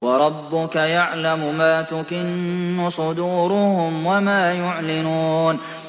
وَرَبُّكَ يَعْلَمُ مَا تُكِنُّ صُدُورُهُمْ وَمَا يُعْلِنُونَ